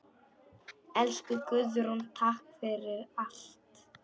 Elsku Guðrún, takk fyrir allt.